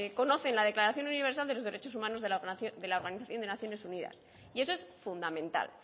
conocen la declaración universal de los derechos humanos de la organización de las naciones unidas y eso es fundamental